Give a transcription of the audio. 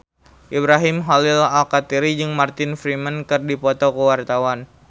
Ibrahim Khalil Alkatiri jeung Martin Freeman keur dipoto ku wartawan